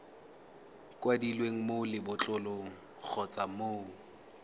kwadilweng mo lebotlolong kgotsa mo